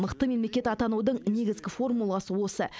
мықты мемлекет атанудың негізгі формуласы осы